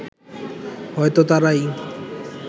হয়তো তারাই